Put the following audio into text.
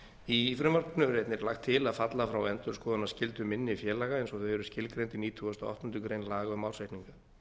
í frumvarpinu er einnig lagt til að falla frá endurskoðunarskyldu minni félaga eins og þau eru skilgreind í nítugasta og áttundu grein laga um ársreikninga